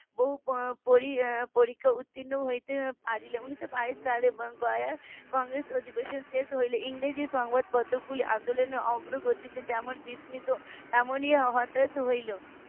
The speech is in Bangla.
বহু পরী~ পরীক্ষা উর্তীন্ন হতে পারলো উনিশ বাইশ সালে গোয়া কংগ্রেস অধিবেশন শেষ হলে ইংরেজি সংবাদ পত্র গুলি আন্দোলনের অগ্রগতিতে যেমন বিস্মিত তেমনি হতাশ হলো